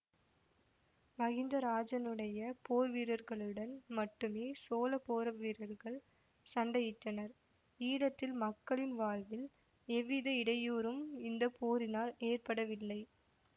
மகிந்தராஜனுடைய போர்வீரர்களுடன் மட்டுமே சோழபோர்வீரர்கள் சண்டையிட்டனர் ஈழத்தில் மக்களின் வாழ்வில் எவ்வித இடையூரும் இந்த போரினால் ஏற்படவில்லை